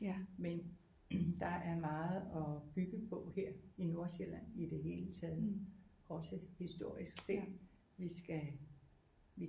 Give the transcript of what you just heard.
Men der er meget at bygge på her i Nordsjælland i det hele taget også historisk set vi skal